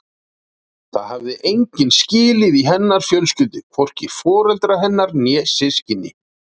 Það hafði enginn skilið í hennar fjölskyldu, hvorki foreldrar hennar né systkini.